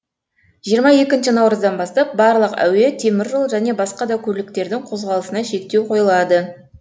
жиырма екінші наурыздан бастап барлық әуе темір жол және басқа да көліктердің қозғалысына шектеу қойылады